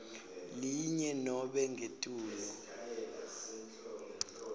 linye nobe ngetulu